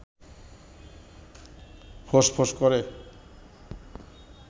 ফোঁস-ফোঁস করে